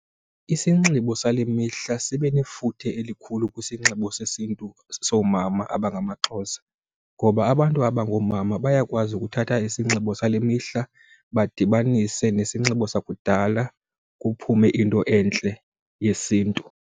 Isinxibo sale mihla sibe nefuthe elikhulu kwisinxibo sesiNtu soomama abangamaXhosa ngoba abantu abangoomama bayakwazi ukuthatha isinxibo sale mihla badibanise nesinxibo sakudala kuphume into entle yesiNtu.